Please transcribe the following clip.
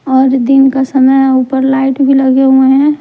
और दिन का समय ऊपर लाइट भी लगे हुए हैं।